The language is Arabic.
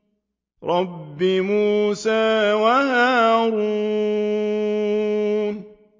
رَبِّ مُوسَىٰ وَهَارُونَ